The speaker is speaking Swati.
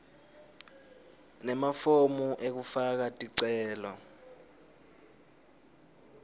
nemafomu ekufaka ticelo